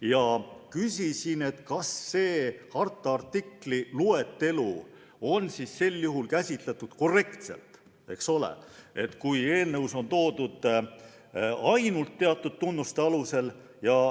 Ma küsisin, kas seda harta artiklis esitatud loetelu on käsitletud korrektselt, kui eelnõus on toodud välja ainult teatud tunnused.